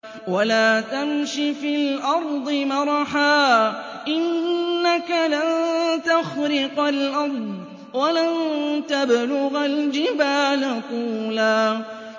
وَلَا تَمْشِ فِي الْأَرْضِ مَرَحًا ۖ إِنَّكَ لَن تَخْرِقَ الْأَرْضَ وَلَن تَبْلُغَ الْجِبَالَ طُولًا